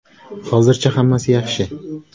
Hozircha hammasi yaxshi!